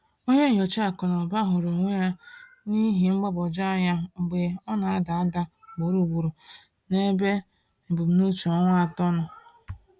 Onye nyocha akụ na ụba hụrụ onwe ya n’ihe mgbagwoju anya mgbe ọ na-ada ada ugboro ugboro n’ebe ebumnuche ọnwa atọ nọ.